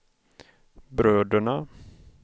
bröderna